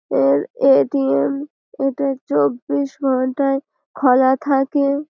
এর A. T M. এটা চব্বিশ ঘণ্টাই খলা থাকে--